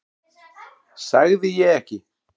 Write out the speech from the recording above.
Sagði ég ekki?